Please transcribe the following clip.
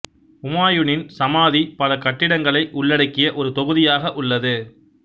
உமாயூனின் சமாதி பல கட்டிடங்களை உள்ளடக்கிய ஒரு தொகுதியாக உள்ளது